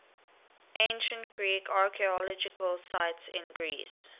ancient greek archaeological sites in greece